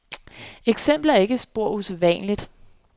Eksemplet er ikke spor usædvanligt.